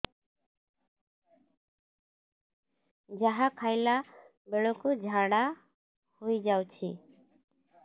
ଯାହା ଖାଇଲା ବେଳକୁ ଝାଡ଼ା ହୋଇ ଯାଉଛି